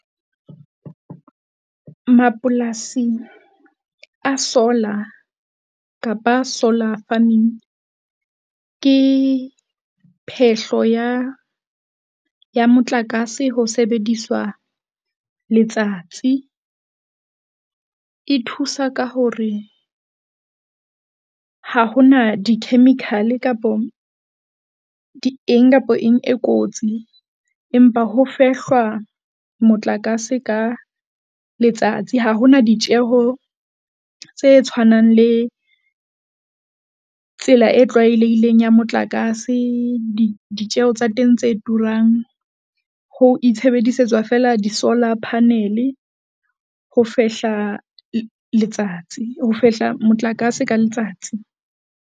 Mapolasi a solar kapa solar farming ke phehlo ya ya motlakase. Ho sebediswa letsatsi, e thusa ka hore ha hona di-chemical-e kapo di eng kapa eng e kotsi, empa ho fehlwa motlakase ka letsatsi. Ha ho na ditjeho tse tshwanang le, tsela e tlwaelehileng ya motlakase. Ditjeho tsa teng tse turang ho itshebedisetswa feela di-solar panel-e ho fehla letsatsi, ho fehla motlakase ka letsatsi.